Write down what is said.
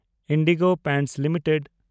IndiGo Paints limited